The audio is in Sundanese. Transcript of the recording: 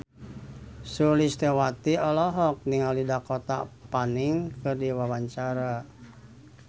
Sulistyowati olohok ningali Dakota Fanning keur diwawancara